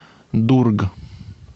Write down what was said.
дург